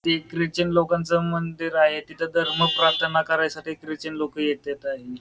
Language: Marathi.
ते ख्रिश्चन लोकांचं मंदिर आहे तिथे धर्म प्रार्थना करायसाठी ख्रिश्चन लोक येत आहेत.